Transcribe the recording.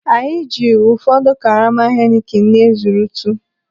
Anyị ji ụfọdụ karama Heineken na-ezurutu.